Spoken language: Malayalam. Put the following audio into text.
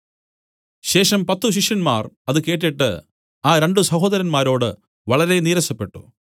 ശേഷം പത്തു ശിഷ്യന്മാർ അത് കേട്ടിട്ട് ആ രണ്ടു സഹോദരന്മാരോട് വളരെനീരസപ്പെട്ടു